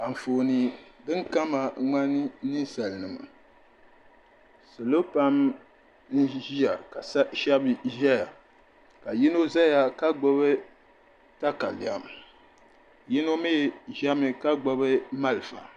Anfooni din kama ŋmani ninsalinima salo pam n ʒiya ka shɛbi zaya ka yino zaya ka gbubi takalɛm yino mi zami ka gbubi malfa.